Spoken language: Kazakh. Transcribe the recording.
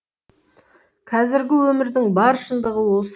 қазіргі өмірдің бар шындығы осы